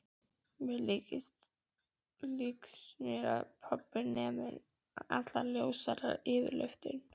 Líkist mér segir pabbi nema hann er allur ljósari yfirlitum.